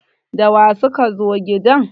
da wa suka zo gidan!